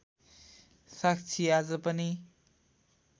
साक्षी आज पनि